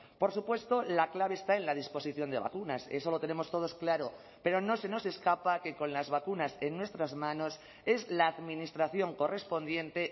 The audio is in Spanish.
por supuesto la clave está en la disposición de vacunas eso lo tenemos todos claro pero no se nos escapa que con las vacunas en nuestras manos es la administración correspondiente